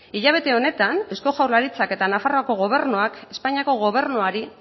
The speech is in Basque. hilabete honetan eusko jaurlaritzak eta nafarroako gobernuak espainiako gobernuari